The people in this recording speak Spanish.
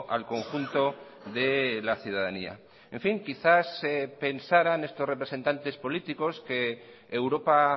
al conjunto de la ciudadanía en fin quizás pensarán estos representantes políticos que europa